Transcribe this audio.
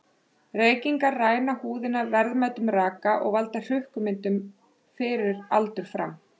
Reykingar ræna húðina verðmætum raka og valda hrukkumyndun fyrir aldur fram.